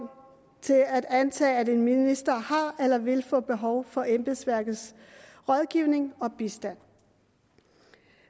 til at antage at en minister har eller vil få behov for embedsværkets rådgivning og bistand